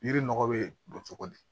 Yiri nɔgɔ be don cogo di